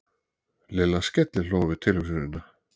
Lilla skellihló við tilhugsunina.